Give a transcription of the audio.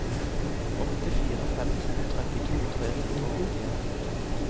åtte fire fem to trettito tre hundre og åttien